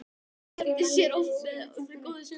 Hann skemmti mér oft með góðum sögum frá fyrri tíð.